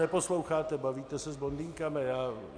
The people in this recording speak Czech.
Neposloucháte, bavíte se s blondýnkami.